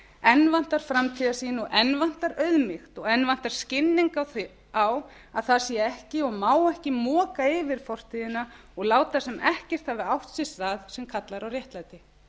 enn vantar framtíðarsýn og enn vantar auðmýkt og enn vantar skilning á að það sé ekki og má ekki moka yfir fortíðina og láta sem ekkert hafi átt sér stað sem kallar á réttlæti